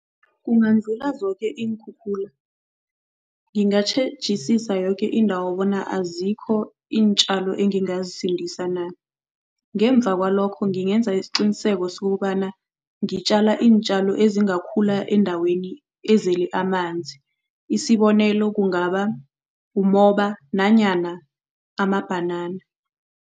Kungadlula zoke iinkhukhula, ngingatjhejisisa yoke indawo bona azikho iintjalo engingazisindisa na. Ngemva kwalokho ngingenza isiqiniseko sokobana ngitjala iintjalo ezingakhula endaweni ezele amanzi, isibonelo, kungaba umoba nanyana amabhanana.